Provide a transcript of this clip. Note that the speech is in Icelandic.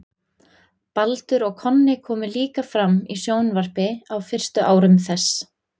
baldur og konni komu líka fram í sjónvarpi á fyrstu árum þess